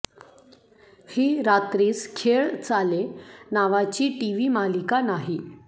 ही रात्रीस खेळ चाले नावाची टीव्ही मालिका नाही